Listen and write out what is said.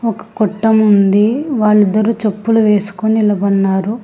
ఒక కొట్టముంది వాళ్ళిద్దరూ చెప్పులు వేసుకుని నిలబడినారు.